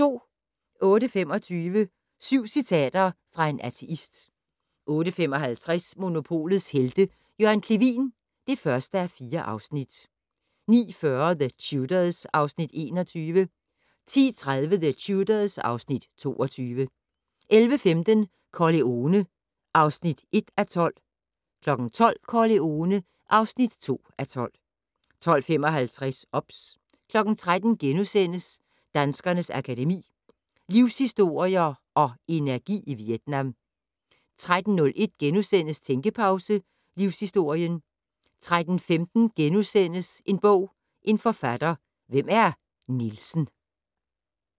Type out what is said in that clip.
08:25: Syv citater fra en ateist 08:55: Monopolets Helte - Jørgen Clevin (1:4) 09:40: The Tudors (Afs. 21) 10:30: The Tudors (Afs. 22) 11:15: Corleone (1:12) 12:00: Corleone (2:12) 12:55: OBS 13:00: Danskernes Akademi: Livshistorier & Energi i Vietnam * 13:01: Tænkepause - Livshistorien * 13:15: En bog, en forfatter - Hvem er Nielsen *